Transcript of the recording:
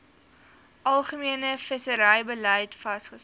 algemene visserybeleid vasgestel